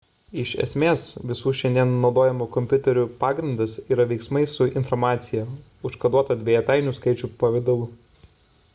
iš esmės visų šiandien naudojamų kompiuterių pagrindas yra veiksmai su informacija užkoduota dvejetainių skaičių pavidalu